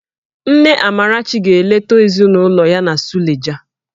Nne Amarachi ga-eleta ezinụlọ ya na Suleja